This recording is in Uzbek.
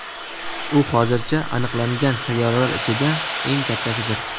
U hozircha aniqlangan sayyoralar ichida eng kattasidir.